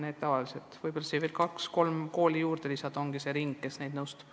Kui enne nimetatutele veel kaks-kolm kooli juurde lisada, siis ongi see ring, kes õpetajaid nõustab.